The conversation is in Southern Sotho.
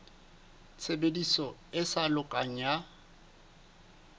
tshebediso e sa lokang ya